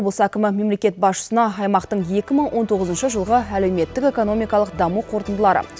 облыс әкімі мемлекет басшысына аймақтың екі мың он тоғызыншы жылғы әлеуметтік экономикалық даму қорытындылары